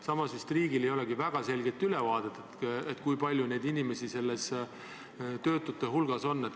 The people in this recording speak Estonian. Samas, riigil ei olegi vist väga selget ülevaadet, kui palju inimesi töötute hulgas on.